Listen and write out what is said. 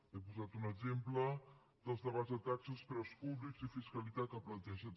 he posat un exemple dels debats de taxes preus públics i fiscalitat que planteja